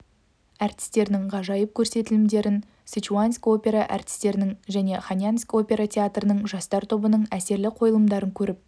әртістерінің ғажайып көрсетілімдерін сычуаньск опера әртістерінің және хэнаньск опера театрының жастар тобының әсерлі қойылымдарын көріп